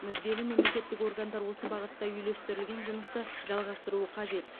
мүдделі мемлекеттік органдар осы бағытта үйлестірілген жұмысты жалғастыруы қажет